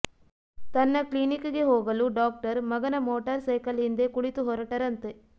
ತನ್ನ ಕ್ಲಿನಿಕ್ಗೆ ಹೋಗಲು ಡಾಕ್ಟರ್ ಮಗನ ಮೋಟಾರ್ ಸೈಕಲ್ ಹಿಂದೆ ಕುಳಿತುಹೊರಟರಂತೆ